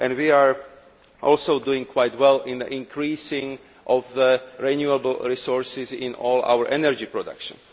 We are also doing quite well in increasing the share of renewable resources in all our energy production.